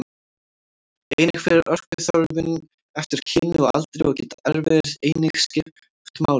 Einnig fer orkuþörfin eftir kyni og aldri og geta erfðir einnig skipt máli.